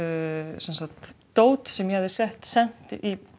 sem sagt dót sem ég hafði sett sett